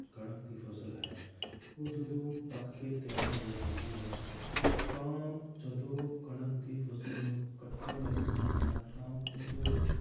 ਕਣਕ ਦੀ ਫਸਲ ਹੈ ਉਹ ਜਦੋਂ ਪੱਕ ਕੇ ਤਿਆਰ ਹੋ ਜਾਂਦੀ ਹੈ ਤਾਂ ਜਦੋਂ ਕਣਕ ਦੀ ਫਸਲ ਨੂੰ ਕੱਟਣ ਦਾ ਸਮਾਂ ਆਉਂਦਾ ਹੈ ਤਾਂ ਉਦੋਂ